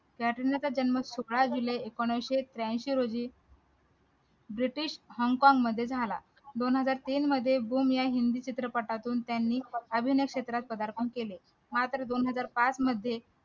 जन्म एकोणीशे त्र्याऐंशी रोजी british hong kong मध्ये झाला दोन हजार तीन मध्ये धूम या हिंदी चित्रपटातून त्यांनी अभिनय क्षेत्रात प्रधारपण केले हा तर दोन हजार पाच मध्ये